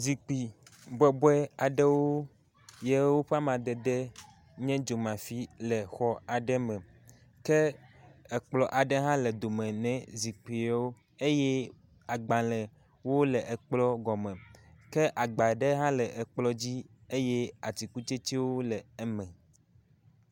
Zikpui bɔbɔe aɖewo yewo ƒe amadede nye dzomafi le exɔaɖe me. Ke kplɔ aɖe hã le dome ne zikpui yewo eye agbalẽwo le kplɔ gɔme ke agba ɖe hã le kplɔ dzi eye atikutsetsewo le eme.